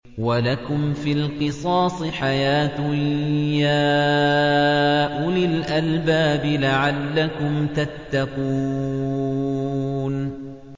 وَلَكُمْ فِي الْقِصَاصِ حَيَاةٌ يَا أُولِي الْأَلْبَابِ لَعَلَّكُمْ تَتَّقُونَ